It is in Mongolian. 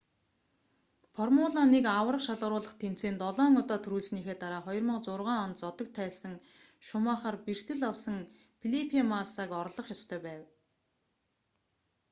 формула 1 аварга шалгаруулах тэмцээнд долоон удаа түрүүлсэнийхээ дараа 2006 онд зодог тайлсан шумахер бэртэл авсан фелипе массаг орлох ёстой байв